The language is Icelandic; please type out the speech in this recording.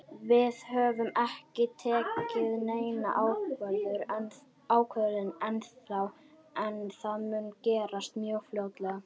Við höfum ekki tekið neina ákvörðun ennþá en það mun gerast mjög fljótlega.